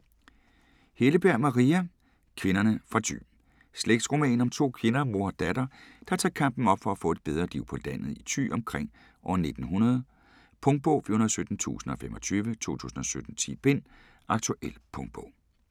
Helleberg, Maria: Kvinderne fra Thy Slægtsroman om to kvinder, mor og datter, der tager kampen op for at få et bedre liv på landet i Thy omkring år 1900. Punktbog 417025 2017. 10 bind. Aktuel punktbog